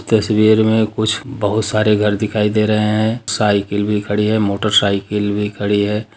तस्वीर में कुछ बहुत सारे घर दिखाई दे रहे है साइकिल भी खड़ी है मोटर साइकिल भी खड़ी है।